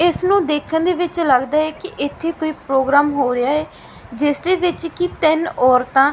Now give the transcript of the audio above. ਇੱਸ ਨੂੰ ਦੇਖਣ ਦੇ ਵਿੱਚ ਲਗਦਾ ਹੈ ਕਿ ਇੱਥੇ ਕੋਈ ਪ੍ਰੋਗਰਾਮ ਹੋ ਰਿਹਾ ਹੈ ਜਿੱਸ ਦੇ ਵਿੱਚ ਕੀ ਤਿੰਨ ਔਰਤਾਂ--